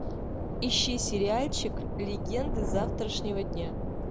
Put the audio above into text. ищи сериальчик легенды завтрашнего дня